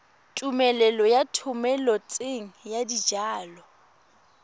tumelelo ya thomeloteng ya dijalo